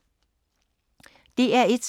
DR1